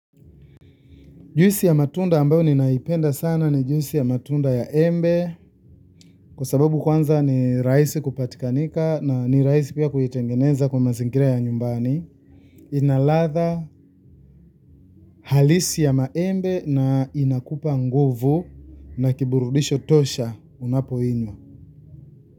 Juisi ya matunda ambayo ninaipenda sana ni juisi ya matunda ya embe kwa sababu kwanza ni rahisi kupatikana na ni rahisi pia kuitengeneza katika mazingira ya nyumbani. Ina ladha halisi ya maembe na inakupa nguvu na kiburudisho tosha unapoinywa.